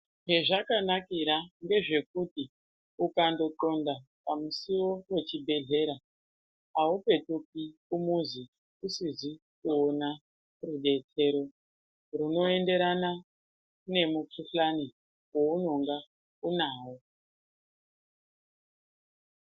Chezvakanakira ngezvekuti ukandonxonda pamusiwo pechibhedhlera aupetuki kumuzi isizi kuona rudetsero runoenderana nemukhuhlani waunonga unawo.